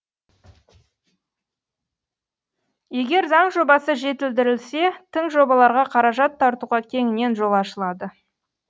егер заң жобасы жетілдірілсе тың жобаларға қаражат тартуға кеңінен жол ашылады